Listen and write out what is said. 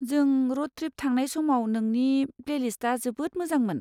जों road trip थांनाय समाव नोंनि प्लेलिस्टआ जोबोद मोजांमोन।